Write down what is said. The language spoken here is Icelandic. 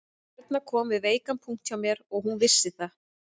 Erna kom við veikan punkt hjá mér og hún vissi það